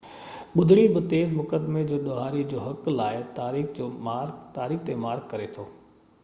ٻُڌڻي بہ تيز مقدمي جو ڏوهاري جي حق لاءِ تاريخ تي مارڪ ڪري ٿي